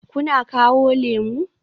Kuna kawo lemu?